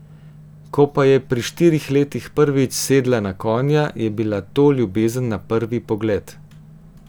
Ko pa je pri štirih letih prvič sedla na konja, je bila to ljubezen na prvi pogled!